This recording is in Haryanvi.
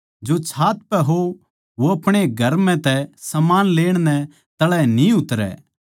जो छात पै हो वो अपणे घर म्ह तै समान लेण नै तळै न्ही उतरै